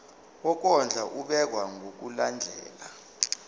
wokondla ubekwa ngokulandlela